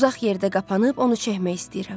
Uzaq yerdə qapanıb onu çəkmək istəyirəm.